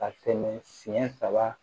Ka tɛmɛ siɲɛ saba